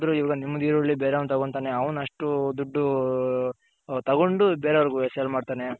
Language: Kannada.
ಎಲ್ ಹೋದರು ಈವಾಗ ನಿಮ್ದ್ ಈರುಳ್ಳಿ ಬೇರೆ ಅವ್ನ್ ತಗೊಂತಾನೆ ಅವ್ನ್ ಅಷ್ಟು ದುಡ್ಡು ತಗೊಂಡು ಬೇರೆ ಅವರ್ಗೆ sale ಮಾಡ್ತಾನೆ.